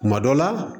Kuma dɔ la